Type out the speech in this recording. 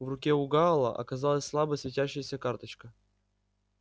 в руке у гаала оказалась слабо светящаяся карточка